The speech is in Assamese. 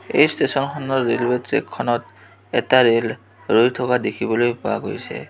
এই ষ্টেচন খনৰ ৰেলৱে ট্ৰেক খনত এটা ৰেল ৰৈ থকা দেখিবলৈ পোৱা গৈছে.